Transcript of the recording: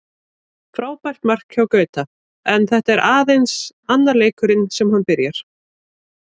Frábært mark hjá Gauta, en þetta er aðeins annar leikurinn sem hann byrjar.